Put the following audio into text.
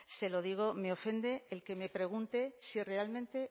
se lo digo me ofende el que me pregunte si realmente